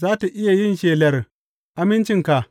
Za tă iya yin shelar amincinka?